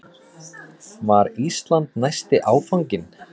Var Ísland næsti áfanginn?